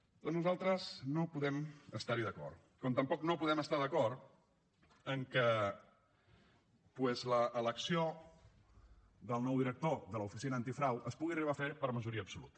però nosaltres no podem estar hi d’acord com tampoc no podem estar d’acord doncs amb el fet que l’elecció del nou director de l’oficina antifrau es pugui arribar a fer per majoria absoluta